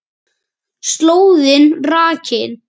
Slóðin rakin